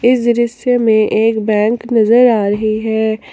इस दृश्य में एक बैंक नजर आ रही है।